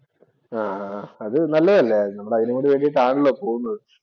ആഹ് അഹ് അത് നല്ലതല്ലേ. നമ്മൾ അതിനു വേണ്ടിയിട്ടാണല്ലോ പോകുന്നത്.